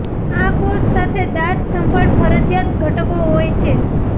આ કૌંસ સાથે દાંત સંભાળ ફરજિયાત ઘટકો હોય છે